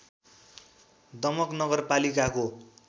दमक नगरपालिकाको